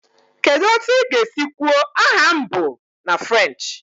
Kedu otu ị ga-esi kwuo "aha m bụ..." na French?